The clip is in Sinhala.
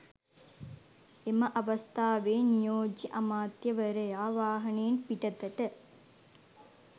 එම අවස්ථාවේ නියෝජ්‍ය අමාත්‍යවරයා වාහනයෙන් පිටතට